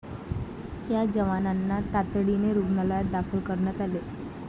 या जवानांना तातडीने रुग्णालयात दाखल करण्यात आले.